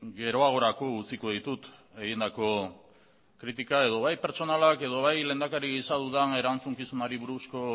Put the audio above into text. geroagorako utziko ditut egindako kritika edo bai pertsonalak edo bai lehendakari gisa dudan erantzukizunari buruzko